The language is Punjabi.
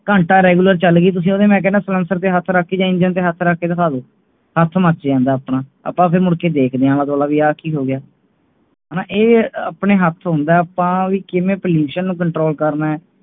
ਘੰਟਾ Regular ਚਲ ਗਈ ਤੁੱਸੀ ਉਹਦੇ ਮੈਂ ਕਹਿਣਾ ਸੇਲੈਂਸਰ ਤੇ ਹੱਥ ਰੱਖ ਕੇ Engine ਤੇ ਹੱਥ ਕੇ ਦਿੱਖਾ ਦੋ ਹੱਥ ਮੱਚ ਜਾਂਦਾ ਆਪਣਾ ਆਪਾ ਫਿਰ ਮੁੜ ਕੇ ਦੇਖਦੇ ਆ ਕਿ ਹੋਗੀਆਂ ਹਾਣਾ ਇਹ ਆਪਣੇ ਹੱਥ ਹੁੰਦਾ ਆਪਾ ਕਿਵੇਂ Pollution ਨੂੰ control ਕਰਨਾ ਹੈ